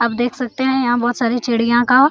आप देख सकते हैं यहाँ बहुत सारी चिड़िया का--